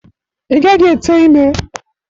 Ị gaghị ete ime!